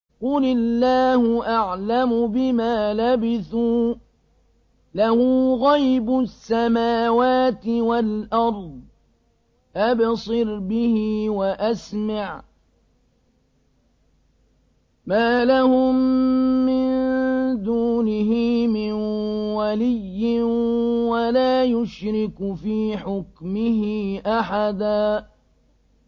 قُلِ اللَّهُ أَعْلَمُ بِمَا لَبِثُوا ۖ لَهُ غَيْبُ السَّمَاوَاتِ وَالْأَرْضِ ۖ أَبْصِرْ بِهِ وَأَسْمِعْ ۚ مَا لَهُم مِّن دُونِهِ مِن وَلِيٍّ وَلَا يُشْرِكُ فِي حُكْمِهِ أَحَدًا